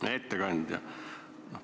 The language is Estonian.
Hea ettekandja!